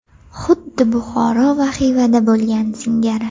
Xuddi Buxoro va Xivada bo‘lgani singari.